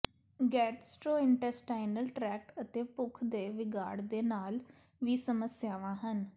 gastrointestinal tract ਅਤੇ ਭੁੱਖ ਦੇ ਵਿਗਾੜ ਦੇ ਨਾਲ ਵੀ ਸਮੱਸਿਆਵਾਂ ਹਨ